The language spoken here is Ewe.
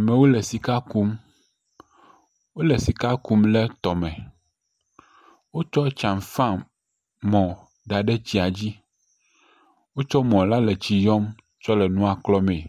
Amewo le sika kum. Wole sika kum le tɔme. Wotsɔ tsamfamɔ da ɖe tsia dzi. Wotsɔ mɔ la le tsi yɔm tsɔ le nua klɔ mee.